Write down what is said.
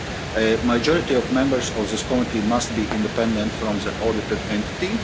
A majority of members of this committee must be independent of the audited entity.